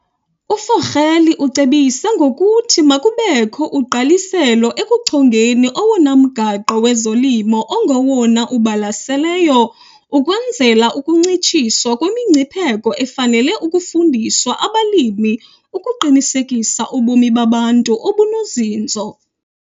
UVogel ucebise ngokuthi makubekho ugqaliselo ekuchongeni owona mgaqo wezolimo ongowona ubalaseleyo ukwenzela ukuncitshiswa kwemingcipheko efanele ukufundiswa abalimi ukuqinisekisa ubomi babantu obunozinzo.